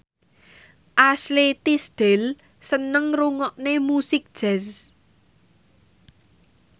Ashley Tisdale seneng ngrungokne musik jazz